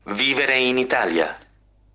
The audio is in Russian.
выбираем италия